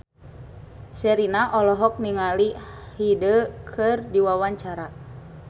Sherina olohok ningali Hyde keur diwawancara